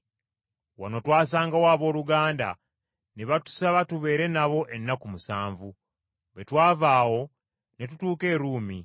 Wano twasangawo abooluganda, ne batusaba tubeere nabo ennaku musanvu. Bwe twava awo ne tutuuka e Ruumi.